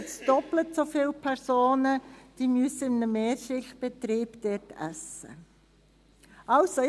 Heute gibt es doppelt so viele Personen, die dort in einem Mehrschicht-Betrieb essen müssen.